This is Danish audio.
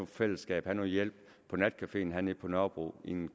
fællesskab have noget hjælp på natcafeen hernede på nørrebro i en